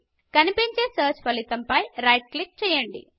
కనిపించే మొదటి సెర్చ్ ఫలితము పై రైట్ క్లిక్ చేయండి